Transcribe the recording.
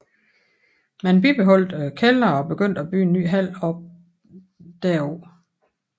Man bibeholdt kælderen og begyndte at bygge en ny hal op derpå